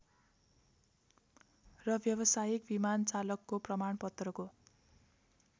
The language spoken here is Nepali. र व्यावसायिक विमानचालकको प्रमाणपत्रको